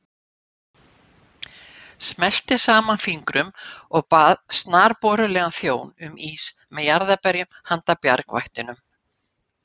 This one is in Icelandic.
Smellti saman fingrum og bað snarborulegan þjón um ís með jarðarberjum handa bjargvættunum.